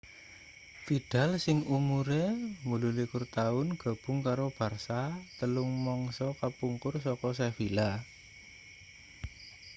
vidal sing umure 28 taun gabung karo barça telung mangsa kapungkur saka sevilla